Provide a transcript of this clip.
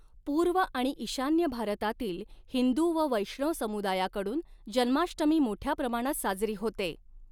पूर्व आणि ईशान्य भारतातील हिंदू व वैष्णव समुदायाकडून जन्माष्टमी मोठ्या प्रमाणात साजरी होते.